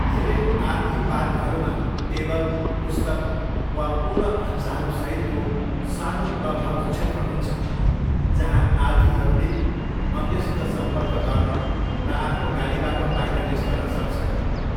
धेरै आरभी पार्कहरूमा टेबल, पुस्तक, वा पूर्ण भान्साहरूसहितको सानो क्लबहाउस क्षेत्र हुन्छ जहाँ आरभीहरूले अन्यसित सम्पर्क गर्न र आफ्नो गाडीबाट बाहिर निस्कन सक्छन्।